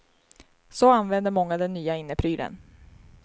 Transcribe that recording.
Så använder många den nya inneprylen.